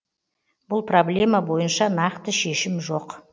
бұл проблема бойынша нақты шешім жоқ